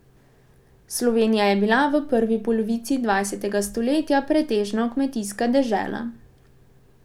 Slovenija je bila v prvi polovici dvajsetega stoletja pretežno kmetijska dežela.